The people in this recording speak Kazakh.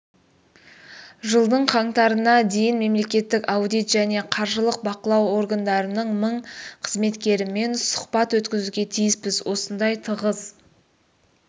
жылдың қаңтарына дейін мемлекеттік аудит және қаржылық бақылау органдарының мың қызметкерімен сұхбат өткізуге тиіспіз осындай тығыз